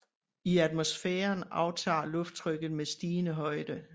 I atmosfæren aftager lufttrykket med stigende højde